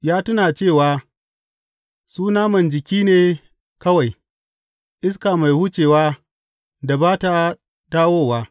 Ya tuna cewa su naman jiki ne kawai, iska mai wucewa da ba ta dawowa.